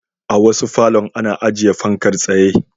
A wasu falon ana ajiye fankar tsaye.